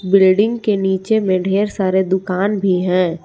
Building के नीचे में ढेर सारे दुकान भी हैं।